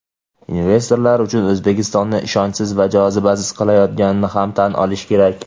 investorlar uchun O‘zbekistonni ishonchsiz va jozibasiz qilayotganini ham tan olish kerak.